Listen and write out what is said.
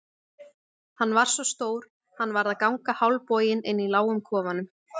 Hann var svo stór að hann varð að ganga hálfboginn inni í lágum kofanum.